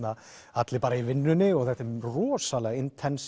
allir bara í vinnunni þetta er rosalega